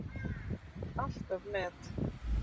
Alltaf met.